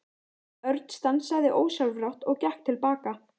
Örn stansaði ósjálfrátt og gekk til baka.